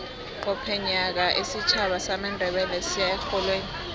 qobe nyaka isitjhaba samandebele siya erholweni